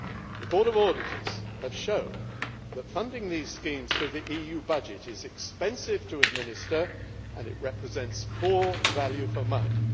The Court of Auditors has shown that funding these schemes through the EU budget is expensive to administer and represents poor value for money.